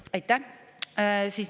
aitäh!